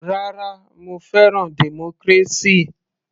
Rárá, mo fẹ́ràn democracy.